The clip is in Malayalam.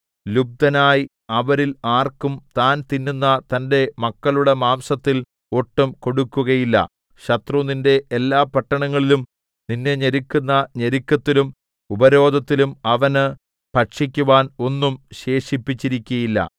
ലുബ്ധനായി അവരിൽ ആർക്കും താൻ തിന്നുന്ന തന്റെ മക്കളുടെ മാംസത്തിൽ ഒട്ടും കൊടുക്കുകയില്ല ശത്രു നിന്റെ എല്ലാ പട്ടണങ്ങളിലും നിന്നെ ഞെരുക്കുന്ന ഞെരുക്കത്തിലും ഉപരോധത്തിലും അവന് ഭക്ഷിക്കുവാൻ ഒന്നും ശേഷിച്ചിരിക്കയില്ല